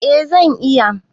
Eh zan iya.